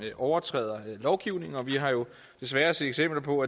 overtræder lovgivningen og vi har jo desværre set eksempler på